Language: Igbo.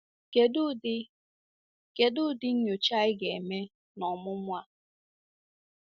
Kedụ ụdị Kedụ ụdị nnyocha anyị ga-eme n’ọmụmụ a?